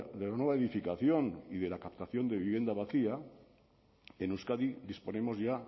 de la nueva edificación y de la captación de vivienda vacía en euskadi disponemos ya